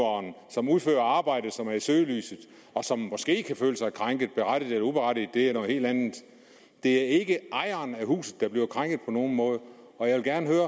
som udfører arbejdet som er i søgelyset og som måske kan føle sig krænket berettiget eller uberettiget det er noget helt andet det er ikke ejeren af huset der bliver krænket på nogen måde og jeg vil gerne høre